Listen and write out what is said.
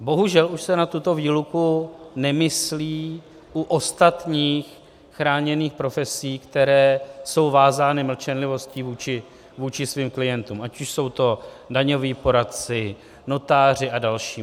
Bohužel už se na tuto výluku nemyslí u ostatních chráněných profesí, které jsou vázány mlčenlivostí vůči svým klientům, ať už jsou to daňoví poradci, notáři a další.